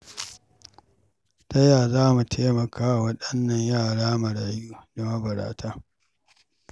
Ta ya za mu taimaka wa waɗannan yara marayu da mabarata?